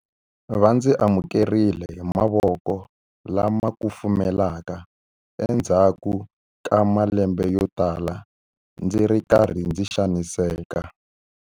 Va ndzi amukerile hi mavoko lama kufumelaka endzhaku ka malembe yotala ndzi ri karhi ndzi xaniseka.